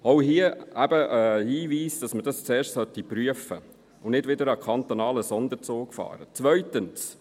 Auch hier eben ein Hinweis, dass man das zuerst prüfen und nicht wieder einen kantonalen Sonderzug fahren sollte.